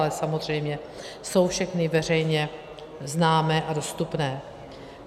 Ale samozřejmě jsou všechny veřejně známé a dostupné.